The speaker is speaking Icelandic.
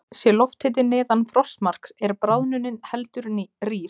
Sé lofthiti neðan frostmarks er bráðnunin heldur rýr.